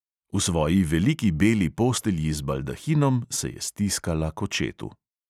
V svoji veliki beli postelji z baldahinom se je stiskala k očetu.